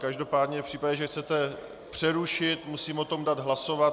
Každopádně v případě, že chcete přerušit, musím o tom dát hlasovat.